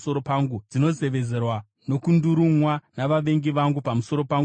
dzinozevezerwa nokungurumwa navavengi vangu pamusoro pangu zuva rose.